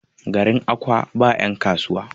garin Akwa ba yankasuwa?